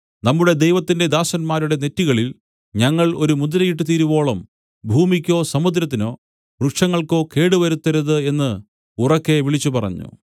നമ്മുടെ ദൈവത്തിന്റെ ദാസന്മാരുടെ നെറ്റികളിൽ ഞങ്ങൾ ഒരു മുദ്രയിട്ട് തീരുവോളം ഭൂമിക്കോ സമൂദ്രത്തിനോ വൃക്ഷങ്ങൾക്കോ കേടുവരുത്തരുത് എന്നു ഉറക്കെ വിളിച്ചുപറഞ്ഞു